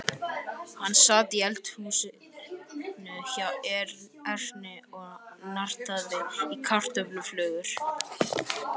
Hann sat í eldhúsinu hjá Erni og nartaði í kartöfluflögur.